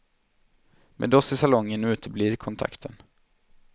Med oss i salongen uteblir kontakten.